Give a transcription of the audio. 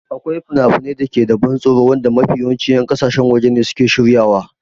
Akwai finafinai da ke da ban tsoro wanda mafi yawancin 'yan ƙasashen waje ne suke shiryawa.